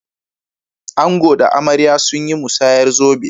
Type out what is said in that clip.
Ango da amarya sun yi musayar zobe.